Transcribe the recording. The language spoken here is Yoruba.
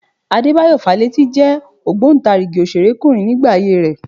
Adébáyọ̀ Fálétí jẹ́ ògbóǹtarigì òṣèrékùnrin nígbà ayé rẹ